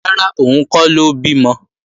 Rárá, òun kọ́ ló bímọ